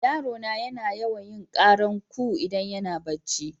Yaro na yana yawan yin karan coo idan yana barci.